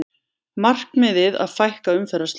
Markmiðið að fækka umferðarslysum